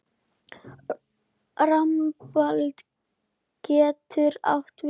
Rambald getur átt við